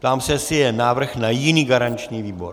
Ptám se, jestli je návrh na jiný garanční výbor.